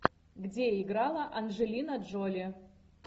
где играла анджелина джоли